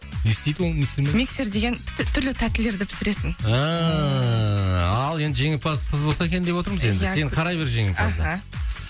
не істейді ол миксермен миксер деген түрлі тәттілерді пісіресің ааа ал енді жеңімпаз қыз болса екен деп отырмыз енді сен қарай бер жеңімпазды аха